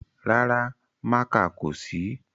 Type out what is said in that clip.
Rárá, mákà kò sí